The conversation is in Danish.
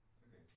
Okay